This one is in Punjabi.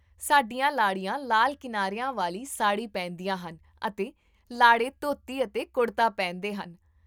ਸਾਡੀਆਂ ਲਾੜੀਆਂ ਲਾਲ ਕਿਨਾਰਿਆਂ ਵਾਲੀ ਸਾੜੀ ਪਹਿਨਦੀਆਂ ਹਨ ਅਤੇ ਲਾੜੇ ਧੋਤੀ ਅਤੇ ਕੁੜਤਾ ਪਹਿਨਦੇ ਹਨ